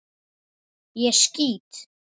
Ég skýt!